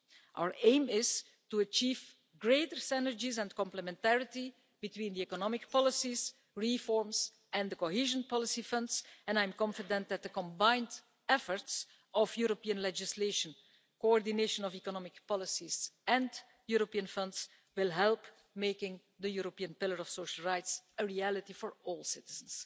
Our aim is to achieve greater synergies and complementarity between the economic policies, reforms and the cohesion policy funds, and I am confident that the combined efforts of European legislation, coordination of economic policies and European funds will help to make the European Pillar of Social Rights a reality for all citizens.